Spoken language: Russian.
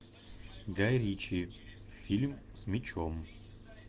гай ричи фильм с мечом